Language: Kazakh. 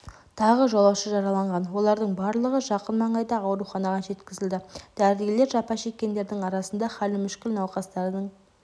тағы жолаушы жараланған олардың барлығы жақын маңайдағы ауруханаға жеткізілді дәрігерлер жапа шеккендердің арасында халі мүшкіл науқастардың